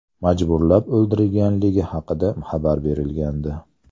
majburlab oldirganligi haqida xabar berilgandi .